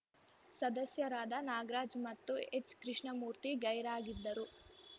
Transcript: ಸದಸ್ಯರಾದ ನಾಗರಾಜ್‌ ಮತ್ತು ಹೆಚ್‌ಕೃಷ್ಣಮೂರ್ತಿ ಗೈರಾಗಿದ್ದರು